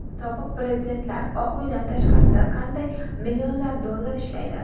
Sobiq prezidentlar Oq uydan tashqarida qanday millionlab dollar ishlaydi?